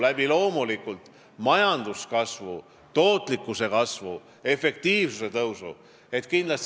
See peab loomulikult tulema majanduskasvu, tootlikkuse kasvu ja efektiivsuse tõusu abil.